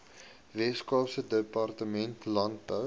weskaapse departement landbou